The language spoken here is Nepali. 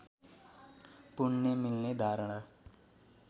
पुण्य मिल्ने धारणा